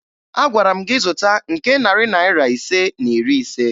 Agwara m gị zụta nke narị Naira ise na iri ise!